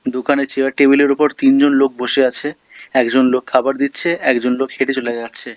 দোকানে chair table -এর ওপর তিনজন লোক বসে আছে একজন লোক খাবার দিচ্ছে একজন লোক হেঁটে চলে যাচ্ছে।